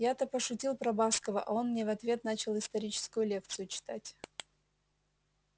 я-то пошутил про баскова а он мне в ответ начал историческую лекцию читать